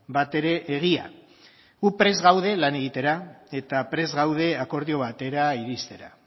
batere egia gu prest gaude lan egitera eta prest gaude akordio batera iristera